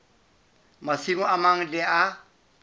masimo a mang le a